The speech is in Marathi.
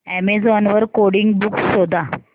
अॅमेझॉन वर कोडिंग बुक्स शोधा